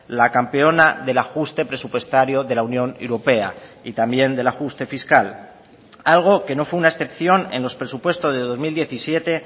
la campeona del ajuste presupuestario de la unión europea y también del ajuste fiscal algo que no fue una excepción en los presupuestos de dos mil diecisiete